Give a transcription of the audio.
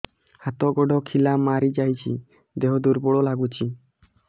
ହାତ ଗୋଡ ଖିଲା ମାରିଯାଉଛି ଦେହ ଦୁର୍ବଳ ଲାଗୁଚି